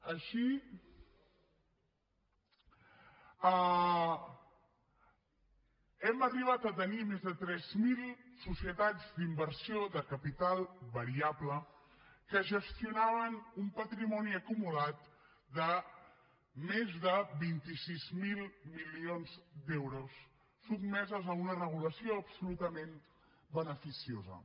així hem arribat a tenir més de tres mil societats d’inversió de capital variable que gestionaven un patrimoni acumulat de més de vint sis mil milions d’euros sotmeses a una regulació absolutament beneficiosa